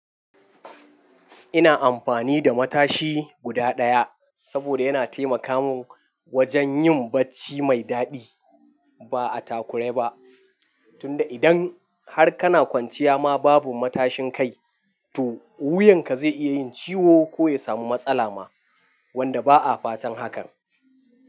Ina amfani da matashi guda daya saboda yana taimaka min wajen yin bacci mai daɗi ba a takure ba, tunda idan har kana kwanciya ma babu matashin kai, to wuyanka zai iya yin ciwo ko ya samu matsala ma wanda ba a fatan hakan.